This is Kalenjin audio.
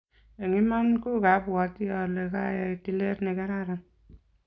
Eng' iman ko kwapwoti ale kayai tilet nekararan